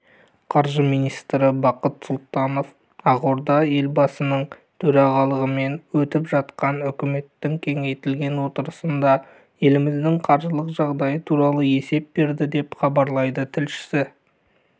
қаржы министрі бақыт сұлтанов ақорда елбасының төрағалығымен өтіп жатқан үкіметінің кеңейтілген отырысында еліміздің қаржылық жағдайы туралы есеп берді деп хабарлайды тілшісі